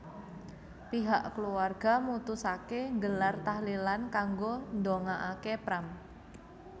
Pihak keluarga mutusaké nggelar tahlilan kanggo ndongakaké Pram